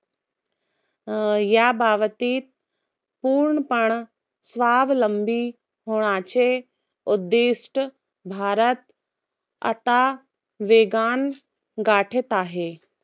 या बाबतीत पूर्णपणा, स्वावलंबी होण्याचे उद्दिष्ट भारत आता वेगानं गाठत आहे.